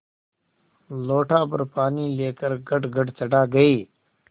लोटाभर पानी लेकर गटगट चढ़ा गई